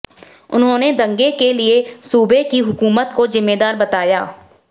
उन्होंने दंगे के लिए सूबे की हुकूमत को जिम्मेदार बताया